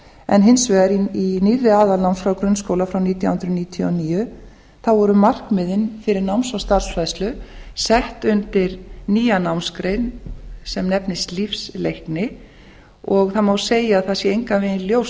en ein vegar í nýrri aðalnámskrá grunnskóla frá nítján hundruð níutíu og níu voru markmiðið fyrir náms og starfsfræðslu sett undir nýja námsgrein sem nefnist lífsleikni og það má segja að það sé engan veginn ljóst